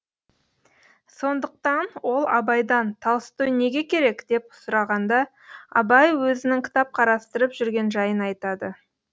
сондықтан ол абайдан толстой неге керек деп сұрағанда абай өзінің кітап қарастырып жүрген жайын айтады